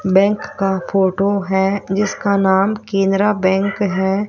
Bank का photo है जिसका नाम केनरा बैंक हैं।